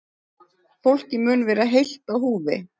Fólkið mun vera heilt á húfi